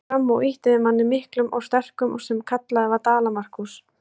Hann gekk fram og ýtti við manni, miklum og sterkum, sem kallaður var Dala-Markús.